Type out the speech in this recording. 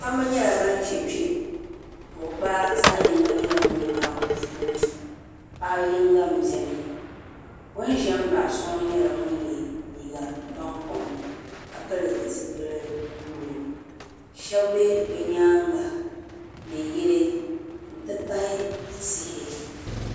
Kpamba nyɛla ban ʒe kpe buɣubaa zaɣ'yiŋga nyɛla ŋun gabi bɛ ni paɣa yiŋga m-beni o ni ʒe m-baɣi so ŋɔ nyɛla ŋun ye liiga bankom ka pili zipili buluu shɛba be bɛ nyaaŋa ni yili nti pahi tihi.